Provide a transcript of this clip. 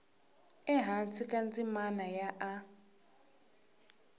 ehansi ka ndzimana ya a